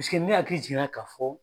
ne hakili jiginna ka fɔ